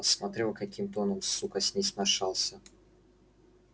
посмотрел каким тоном сука с ней сношался